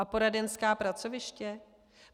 A poradenská pracoviště?